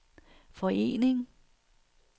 forening